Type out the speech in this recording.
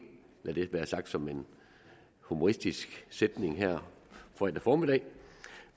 lad det være sagt som en humoristisk sætning her fredag formiddag